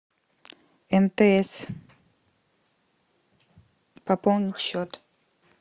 мтс пополнить счет